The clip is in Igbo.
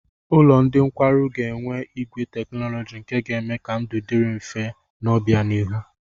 Ụlọ ndị nkwarụ ga-enwe igwe teknọlọjị nke ga-eme ka ndụ dịrị mfe n'obịanihu.